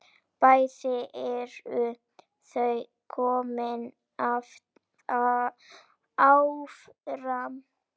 Bæði eru þau komin áfram.